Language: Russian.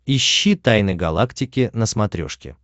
ищи тайны галактики на смотрешке